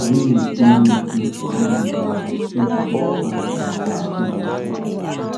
Anyị na-etinye ntụ n'ogige ahụ iji chụpụ parasites na ụmụ ahụhụ.